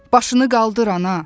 Başını qaldır ana.